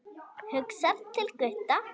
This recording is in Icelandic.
Hugsar til Gutta.